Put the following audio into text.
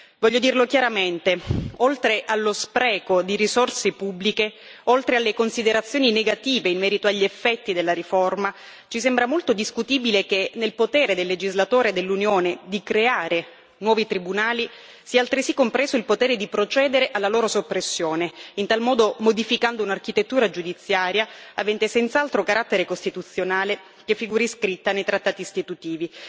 Voglio dirlo chiaramente oltre allo spreco di risorse pubbliche, oltre alle considerazioni negative in merito agli effetti della riforma, ci sembra molto discutibile che nel potere del legislatore dell'Unione di creare nuovi tribunali sia altresì compreso il potere di procedere alla loro soppressione, in tal modo modificando un'architettura giudiziaria avente senz'altro carattere costituzionale che figuri scritta nei trattati istitutivi.